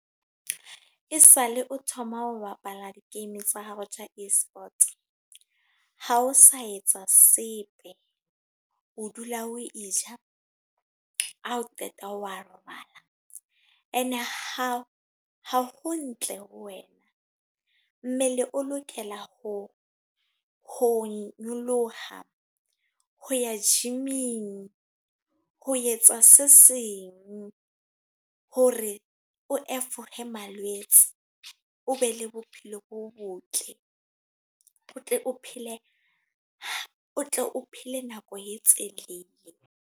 Esale o thoma ho bapala di-game tsa hao tja eSport. Ha o sa etse sepe. O dula o e ja, ha o qeta wa robala. E ne ha ha ho ntle ho wena. Mmele o lokela ho ho nyoloha, ho ya gym-ing, ho etsa se seng ho hore o malwetse. O be le bophelo bo botle. O tle o phele nako e telele.